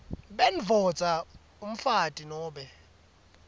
bendvodza umfati nobe